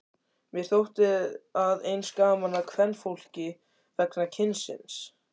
Mér þótti að eins gaman að kvenfólki vegna kynsins.